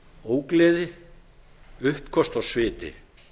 ógleði uppköst og sviti